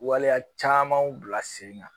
Waleya caman bila sen kan